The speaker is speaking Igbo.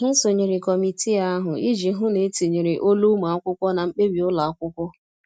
Ha sonyere kọmitii ahụ iji hụ na etinyere olu ụmụ akwụkwọ na mkpebi ụlọ akwụkwọ.